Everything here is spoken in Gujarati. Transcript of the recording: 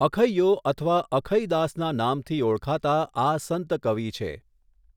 અખૈયો અથવા અખઈદાસના નામથી ઓળખાતા આ સંત કવિ છે.